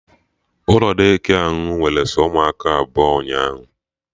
Ụlọ Daycare ahụ nwere sọ ụmụaka abụọ ụnyaahụ